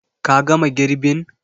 Ka gama girbin?